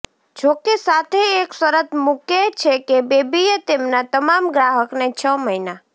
જોકે સાથે એક શરત મૂકે છે કે બેબીએ તેમના તમામ ગ્રાહકને છ મહિના